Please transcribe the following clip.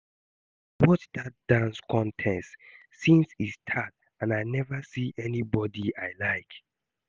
I dey watch dat dance contest since e start and I never see anybody I like